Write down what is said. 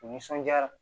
U nisɔndiyara